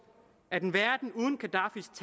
at en verden uden gadaffis